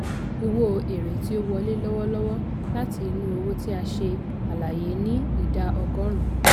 owó èèrè tí ó wọlé lọ́wọ́lọ́wọ́ láti inú òwò tí a ṣe àlàyé ní ìdá ọgọ́rùn.